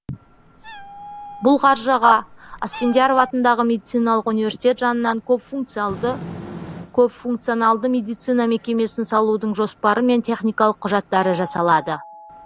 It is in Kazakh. бұл қаржыға асфендияров атындағы медициналық университет жанынан көпфункционалды медицина мекемесін салудың жоспары мен техникалық құжаттары жасалады